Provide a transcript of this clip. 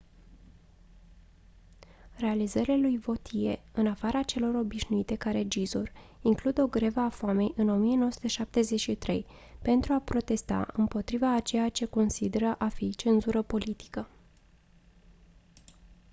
realizările lui vautier în afara celor obținute ca regizor includ o grevă a foamei în 1973 pentru a protesta împotriva a ceea ce considera a fi cenzură politică